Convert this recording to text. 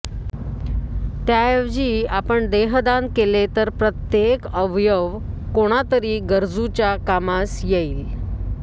त्या ऐवजी आपण देहदान केले तर प्रत्येक अवयव कोणा तरी गरजूच्या कामास येईल